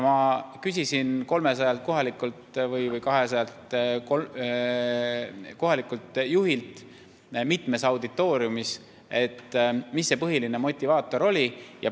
Ma olen 200 kohalikult juhilt mitmes auditooriumis küsinud, mis see põhiline motivaator oli.